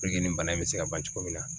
nin bana in bɛ se ka ban cogo min na